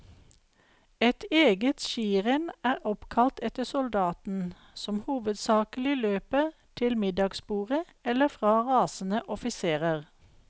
Et eget skirenn er oppkalt etter soldaten, som hovedsakelig løper til middagsbordet, eller fra rasende offiserer.